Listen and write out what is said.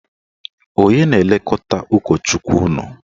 Onye na-elekọta ụkọchukwu unu?